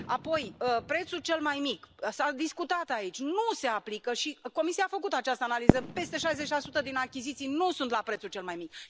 Apoi, prețul cel mai mic s a discutat aici nu se aplică și Comisia a făcut această analiză peste șaizeci la sută din achiziții nu sunt la prețul cel mai mic.